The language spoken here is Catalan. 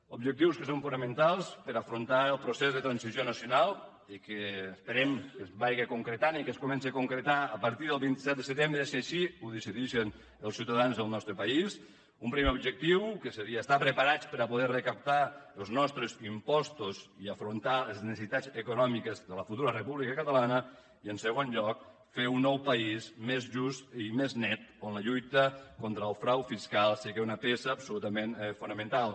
objectius que són fonamentals per afrontar el procés de transició nacional i que esperem que es vagi concretant i que es comenci a concretar a partir del vint set de setembre si així ho decidixen els ciutadans del nostre país un primer objectiu que seria estar preparats per a poder recaptar els nostres impostos i afrontar les necessitats econòmiques de la futura república catalana i en segon lloc fer un nou país més just i més net on la lluita contra el frau fiscal sigui una peça absolutament fonamental